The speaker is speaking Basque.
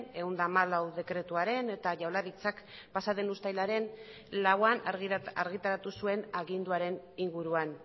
ehun eta hamalau dekretuaren eta jaurlaritzak pasa den uztailaren lauan argitaratu zuen aginduaren inguruan